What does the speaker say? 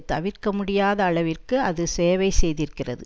தவிர்க்க முடியாத அளவிற்கு அது சேவை செய்திருக்கிறது